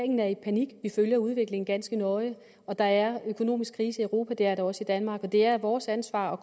er i panik vi følger udviklingen ganske nøje der er økonomisk krise i europa og det er der også i danmark og det er vores ansvar at